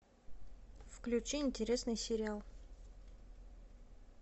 включи интересный сериал